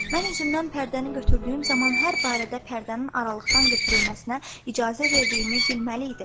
Mən üzümdən pərdəni götürdüyüm zaman hər barədə pərdənin aralıqdan götürülməsinə icazə verdiyimi bilməli idin.